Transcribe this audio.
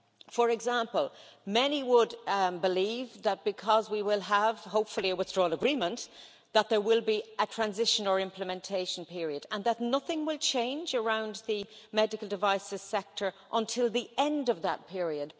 For example, many would believe that, because we will hopefully have a withdrawal agreement, there will be a transition or implementation period and that nothing will change around the medical devices sector until the end of that period.